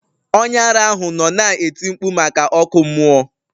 Onye ara ahụ nọ na-eti mkpu maka ọkụ mmụọ.